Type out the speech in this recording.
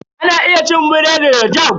Ana iya cin biredi da "Jam".